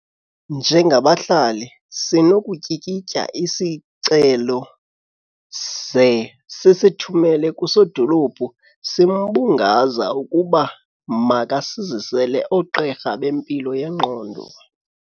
Njengabahlali sinokutyikitya isicelo ze sisithumele kusodolophu simbungaza ukuba makasizisele oogqirha bempilo yengqondo.